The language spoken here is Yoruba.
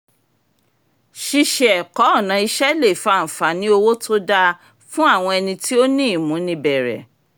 ṣíṣe ẹ̀kọ́ ọ̀nà iṣẹ́ le fa àǹfààní owó tó dáa fún àwọn ẹni tí ó ní ìmúnibẹ̀rẹ̀